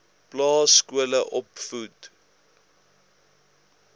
plaas skole opvoedk